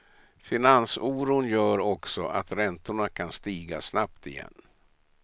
Finansoron gör också att räntorna kan stiga snabbt igen.